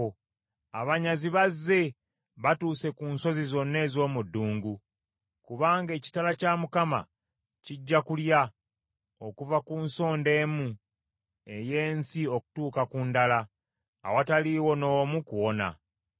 Abanyazi bazze batuuse ku nsozi zonna ez’omu ddungu, kubanga ekitala kya Mukama kijja kulya okuva ku nsonda emu ey’ensi okutuuka ku ndala, awataliiwo n’omu kuwona.